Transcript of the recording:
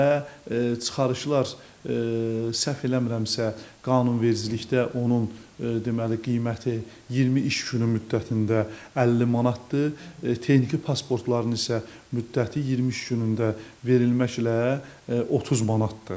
Və çıxarışlar səhv eləmirəmsə, qanunvericilikdə onun deməli qiyməti 20 iş günü müddətində 50 manatdır, texniki pasportların isə müddəti 23 günündə verilməklə 30 manatdır.